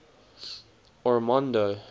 ormonde